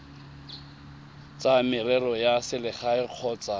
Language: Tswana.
tsa merero ya selegae kgotsa